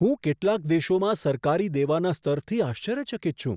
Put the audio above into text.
હું કેટલાક દેશોમાં સરકારી દેવાના સ્તરથી આશ્ચર્યચકિત છું.